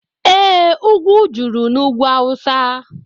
Ee, ugwu juru n'ugwu awụsa